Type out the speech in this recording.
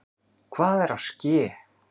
Hvað er að ske!